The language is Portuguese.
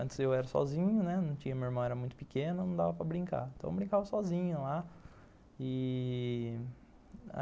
Antes eu era sozinho, né, minha irmã era muito pequena, não dava para brincar, então eu brincava sozinho lá.